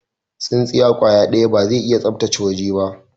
Tsinsiya kwaya daya ba zai iya sabtace waje ba.